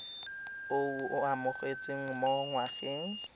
o o amogetsweng mo ngwageng